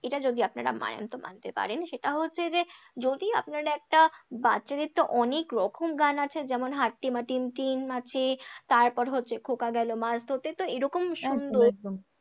এটা যদি আপনারা মানেন তো মানতে পারেন, সেটা হচ্ছে যে যদি আপনারা একটা বাচ্চাদের তো অনেকরকম গান আছে যেমন হাট্টিমাটিমটিম আছে, তারপর হচ্ছে খোঁকা গেলো মাছ ধরতে তো এরকম সুন্দর, একদম একদম